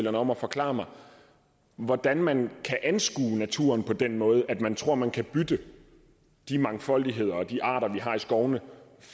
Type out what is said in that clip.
om at forklare mig hvordan man kan anskue naturen på den måde at man tror at man kan bytte de mangfoldigheder og de arter vi har i skovene